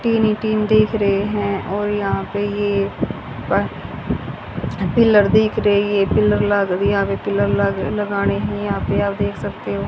Tin ही tin दिख रहे हैं और यहां पे ये प पिलर दिख रही है पिलर लग यहां पे पिलर लग लगाने के लिए यहां पे देख सकते हो।